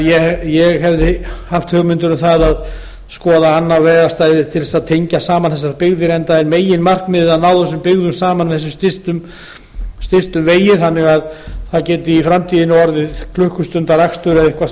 ég hefði því haft hugmyndir um það að skoða annað vega stæði til þess að tengja saman þessar byggðir enda er meginmarkmiðið að ná þessum byggðum saman með sem stystum vegi þannig að það geti í framtíðinni orðið klukkustundar akstur eða eitthvað slíkt